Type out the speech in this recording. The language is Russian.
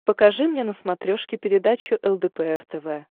покажи мне на смотрешке передачу лдпр тв